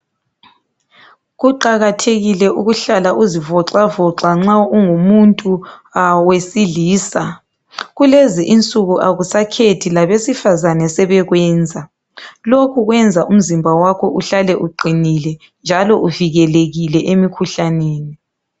Kuqakathekile ukuhlala uzivoxavoxa nxa ungumuntu wesilisa. Kulezi insuku abantu akusakhethi labesifazane sebekwenza. Lokhu kwenza umzimba wakho uhlale uqinile njalo uvukelekile emikhuhlaneni.